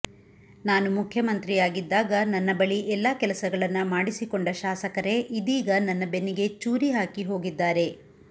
ನಾನು ಮುಖ್ಯಮಂತ್ರಿಯಾಗಿದ್ದಾಗ ನನ್ನ ಬಳಿ ಎಲ್ಲಾ ಕೆಲಸಗಳನ್ನ ಮಾಡಿಸಿಕೊಂಡ ಶಾಸಕರೇ ಇದೀಗ ನನ್ನ ಬೆನ್ನಿಗೆ ಚೂರಿ ಹಾಕಿ ಹೋಗಿದ್ಧಾರೆ